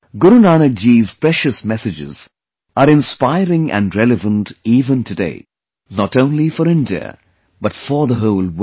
Guru Nanak Ji's precious messages are inspiring and relevant even today, not only for India but for the whole world